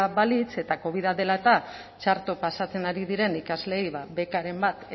balitz eta covida dela eta txarto pasatzen ari diren ikasleei bekaren bat